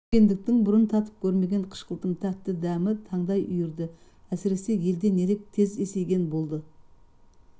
үлкендіктің бұрын татып көрмеген қышқылтым тәтті дәм таңдай үйірді әсіресе елден ерек тез есейген болды